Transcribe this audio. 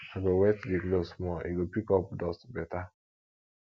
i go wet di cloth small e go pick up dust beta